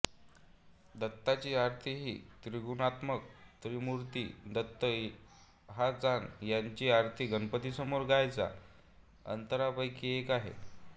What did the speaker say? दत्ताची आरतीही त्रिगुणात्मक त्रयमूर्ति दत्त हा जाण त्यांची आरती गणपतीसमोर गायच्या आरत्यांपैकी एक आहे